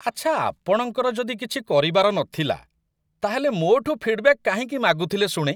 ଆଚ୍ଛା, ଆପଣଙ୍କର ଯଦି କିଛି କରିବାର ନଥିଲା, ତା'ହେଲେ ମୋ'ଠୁ ଫିଡ୍‌ବ‍୍ୟାକ୍ କାହିଁକି ମାଗୁଥିଲେ ଶୁଣେ?